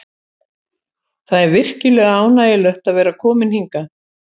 Það er virkilega ánægjulegt að vera kominn hingað.